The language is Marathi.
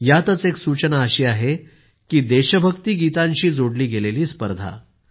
यातच एक सूचना अशी आहे की देशभक्ति गीतांशी जोडली गेलेली स्पर्धा